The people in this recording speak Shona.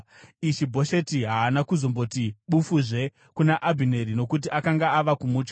Ishi-Bhosheti haana kuzomboti bufuzve kuna Abhineri, nokuti akanga ava kumutya.